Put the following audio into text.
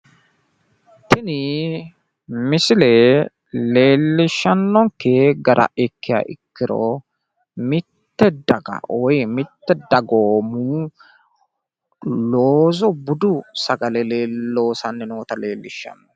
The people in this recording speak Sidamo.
Tini misile leellishshannoke gara ikkiha ikkiro mitte daga woyi mittu dagoomi budu sagale loossanni noota leellishanno.